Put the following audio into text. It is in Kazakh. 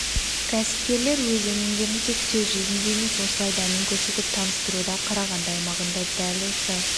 кәсіпкерлер өз өнімдерін тек сөз жүзінде емес осылай дәмін көрсетіп таныстыруда қарағанды аймағында дәл осы